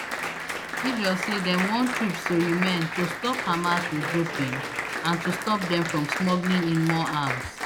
israel say dem want troops to remain to stop hamas regrouping and to stop dem from smuggling in more arms